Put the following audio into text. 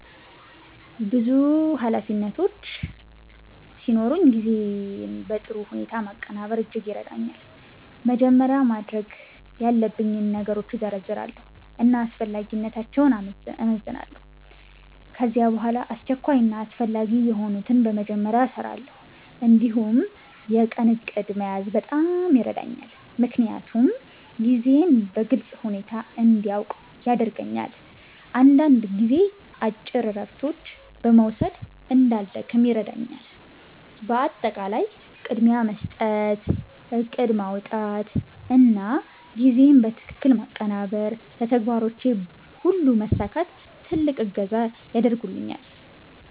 ብዙ ኃላፊነቶች ሲኖሩኝ ጊዜን በጥሩ ሁኔታ ማቀናበር እጅግ ይረዳኛል። መጀመሪያ ማድረግ ያለብኝን ነገሮች እዘርዝራለሁ እና አስፈላጊነታቸውን እመዝናለሁ። ከዚያ በኋላ አስቸኳይ እና አስፈላጊ የሆኑትን በመጀመሪያ እሰራለሁ። እንዲሁም የቀን እቅድ መያዝ በጣም ይረዳኛል፣ ምክንያቱም ጊዜዬን በግልጽ ሁኔታ እንዲያውቅ ያደርገኛል። አንዳንድ ጊዜ አጭር እረፍቶች መውሰድ እንዳልደክም ይረዳኛል። በአጠቃላይ ቅድሚያ መስጠት፣ እቅድ ማውጣት እና ጊዜን በትክክል ማቀናበር ለተግባሮቼ ሁሉ መሳካት ትልቅ እገዛ ያደርጉልኛል።